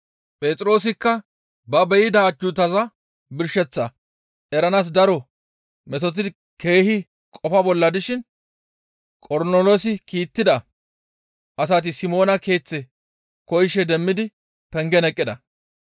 Phexroosikka ba be7ida ajjuutaza birsheththaa eranaas daro metotidi keehi qofa bolla dishin Qornoloosi kiittida asati Simoona keeththe koyishe demmidi pengen eqqida.